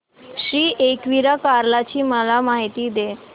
श्री एकविरा कार्ला ची मला माहिती दे